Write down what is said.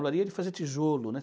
Olaria é de fazer tijolo, né?